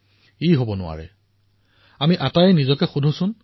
আমি সকলোৱে নিজকে সুধিব লাগিব চিন্তা কৰিব লাগিব সামূহিক ৰূৰত আলোচনা কৰিব লাগিব